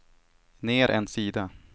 ner en sida